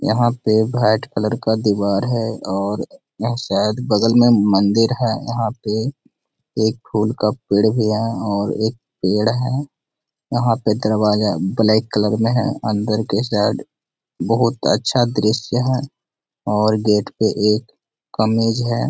यहाँ पे white colour का दिवार है और यहाँ शायद बगल में मंदिर है। यहाँ पे एक फूल का पेड़ भी है और एक पेड़ है। यहाँ पर दरवाजा ब्लैक कलर में है। अंदर के साइड बोहत अच्छा दृश्य है और गेट पे एक कमीज है।